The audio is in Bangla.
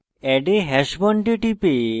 add a hash bond a টিপে